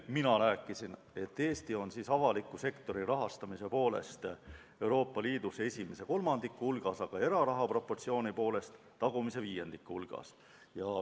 Mina rääkisin, et Eesti on avaliku sektori rahastamise poolest Euroopa Liidus esimese kolmandiku hulgas, aga eraraha proportsiooni poolest tagumise viiendiku hulgas.